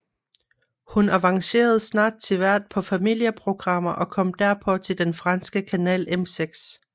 Hun avancerede snart til vært på familieprogrammer og kom derpå til den franske kanal M6